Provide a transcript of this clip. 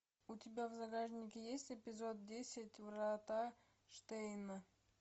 у тебя в загашнике есть эпизод десять врата штейна